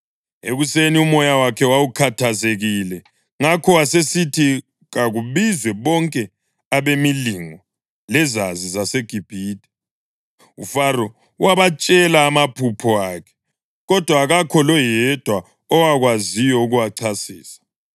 Ekuseni umoya wakhe wawukhathazekile, ngakho wasesithi kakubizwe bonke abemilingo lezazi zaseGibhithe. UFaro wabatshela amaphupho akhe, kodwa akakho loyedwa owakwaziyo ukuwachasisa.